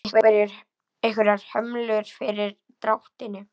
Eru einhverjar hömlur fyrir dráttinn?